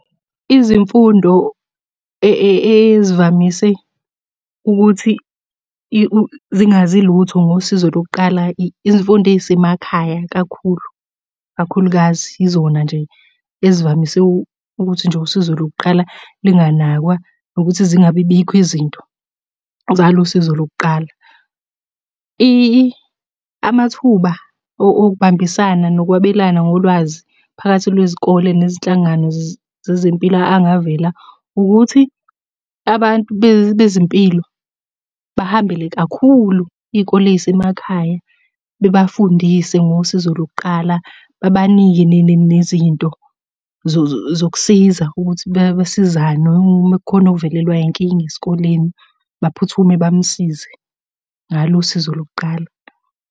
Izimfundo ezivamise ukuthi zingazi lutho ngosizo lokuqala izimfundo ey'semakhaya kakhulu, kakhulukazi yizona nje ezivamise ukuthi nje usizo lokuqala linganakwa. Nokuthi zingabi bikho izinto zalo usizo lokuqala. Amathuba okubambisana nokwabelana ngolwazi phakathi lwezikole nezinhlangano zezempilo angavela, ukuthi abantu bezimpilo bahambele kakhulu iy'kole ey'semakhaya. Bebafundise ngosizo lokuqala, babanike nezinto zokusiza ukuthi besizane uma kukhona ovelelwa yinkinga esikoleni, baphuthume bamsize ngalo usizo lokuqala.